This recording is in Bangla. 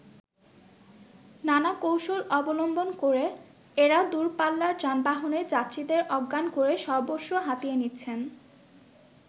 নানা কৌশল অবলম্বন করে, এরা দূরপাল্লার যানবাহনের যাত্রীদের অজ্ঞান করে সর্বস্ব হাতিয়ে নিচ্ছেন।